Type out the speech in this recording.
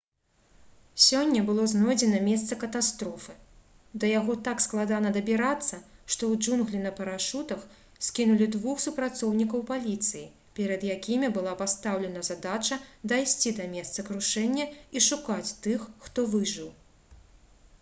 сёння было знойдзена месца катастрофы да яго так складана дабірацца што ў джунглі на парашутах скінулі двух супрацоўнікаў паліцыі перад якімі была пастаўлена задача дайсці да месца крушэння і шукаць тых хто выжыў